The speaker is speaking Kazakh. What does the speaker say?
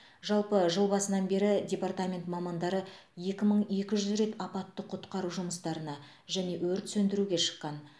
жалпы жыл басынан бері департамент мамандары екі мың екі жүз рет апаттық құтқару жұмыстарына және өрт сөндіруге шыққан